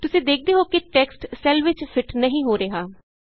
ਤੁਸੀਂ ਦੇਖਦੇ ਹੋ ਕਿ ਟੈਕਸਟ ਸੈੱਲ ਵਿਚ ਫਿਟ ਨਹੀਂ ਹੋ ਰਿਹਾ